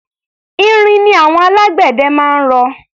Irin ni àwọn alágbẹ̀dẹ máa ń rọ.